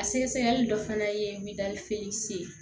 A sɛgɛsɛgɛli dɔ fana ye ye